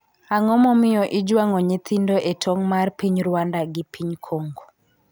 Ang'o momiyo ijwang'o nyithindo e tong' mar piny Rwanda gi piny Congo?